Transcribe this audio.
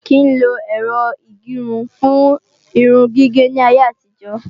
A ò kí ń lo Ẹ̀rọ ìgẹrun fún irun gígé ní ayé àtijọ́